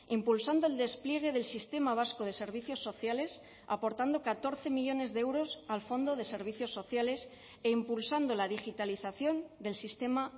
impulsando el despliegue del sistema vasco de servicios sociales aportando catorce millónes de euros al fondo de servicios sociales e impulsando la digitalización del sistema